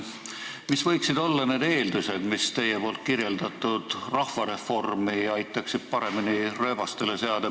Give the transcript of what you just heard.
Mis võiksid olla need eeldused, mis aitaksid teie kirjeldatud rahvareformi paremini rööbastele seada?